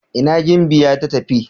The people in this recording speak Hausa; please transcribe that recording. ina gimbiya ta tafi?